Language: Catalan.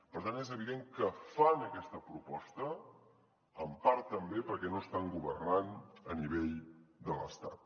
per tant és evident que fan aquesta proposta en part també perquè no estan governant a nivell de l’estat